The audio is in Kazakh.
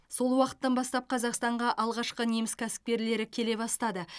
сол уақыттан бастап қазақстанға алғашқы неміс кәсіпкерлері келе бастады